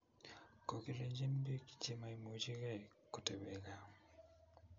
Kokilenjin bik chemaimuchikei kotebe gaa